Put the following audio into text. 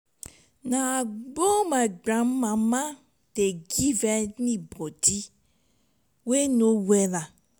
na agbo my grandmama dey give anybodi we no wella.